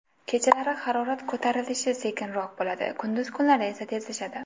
Kechalari harorat ko‘tarilishi sekinroq bo‘ladi, kunduz kunlari esa tezlashadi.